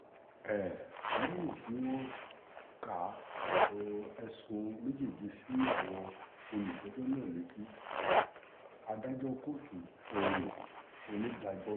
um lẹ́yìn tí wọ́n ka um ẹ̀sùn méjèèje sí àwọn olùjẹ́jọ́ náà létí adájọ́ kóòtù ohun onídàájọ́ òò